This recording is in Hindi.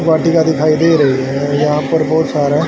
वाटिका दिखाई दे रही है यहां पर बहोत सारा--